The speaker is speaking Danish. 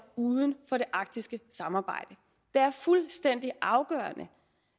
uden for det arktiske samarbejde det er fuldstændig afgørende